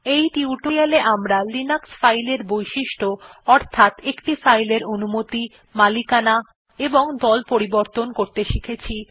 এই টিউটোরিয়াল এ আমরা লিনাক্স ফাইল বৈশিষ্ট্য অর্থাৎ একটি ফাইলের অনুমতি মালিকানা এবং দল পরিবর্তন করতে শিখেছি